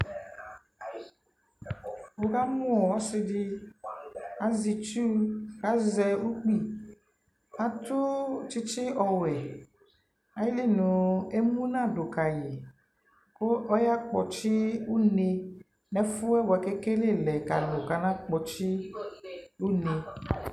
Nι ka mʋ ɔsι dι,azɛ itsuukʋ azɛ ukpi kʋ atʋ tsιtsι ɔɔwɛ, ayιli nʋ emu na dʋ kayι, kʋ ɔya kpɔtsι une nʋ ɛfʋ yɛ bʋakʋ ekele lɛ kʋ alʋ kana kpɔtsι une